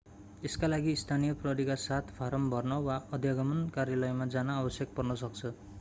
यसका लागि स्थानीय प्रहरीका साथ फाराम भर्न वा अध्यागमन कार्यालयमा जान आवश्यक पर्न सक्छ